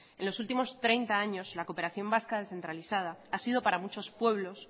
en los últimos treinta años la cooperación vasca descentralizada ha sido para muchos pueblos